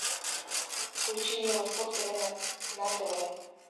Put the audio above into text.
включи мне восток тв на тв